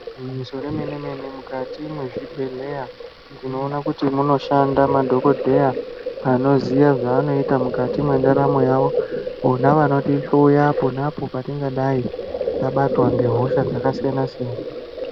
Igwinyiso remene-mene, mukati mezvibhedhlera ndinoona kuti munoshanda madhogodheya anoziya zvaanoita mukati mwendaramo yavo, vona vanotihloya ponapo patingadai tabatwa ngehosha dzakasiyana siyana.